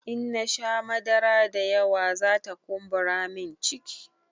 In nasha madara da yawa zata kumburamin ciki